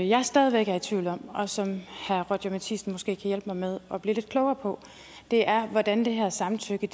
jeg stadig væk er i tvivl om og som herre roger courage matthisen måske kan hjælpe mig med at blive lidt klogere på er hvordan det her samtykke